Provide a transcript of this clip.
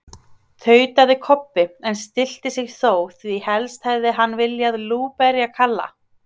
tautaði Kobbi, en stillti sig þó, því helst hefði hann viljað lúberja Kalla.